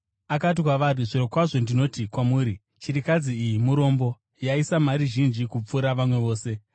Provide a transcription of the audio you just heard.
Akati kwavari, “Zvirokwazvo ndinoti kwamuri, chirikadzi iyi murombo yaisa mari zhinji kupfuura vamwe vose.